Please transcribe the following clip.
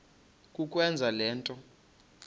kukwenza le nto